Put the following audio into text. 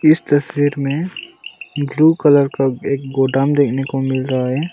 इस तस्वीर में एक ब्लू कलर का एक गोदाम देखने को मिल रहा है।